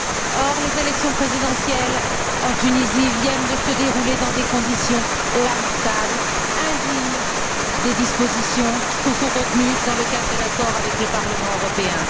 Or, les élections présidentielles en Tunisie viennent de se dérouler dans des conditions lamentables, indignes des dispositions contenues dans le cadre de l'accord avec le Parlement européen.